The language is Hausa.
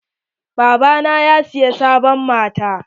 Baba na ya siya sabon mota.